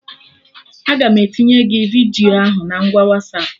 Aga m etinye gị vidiyo ahụ na ngwa Wasapụ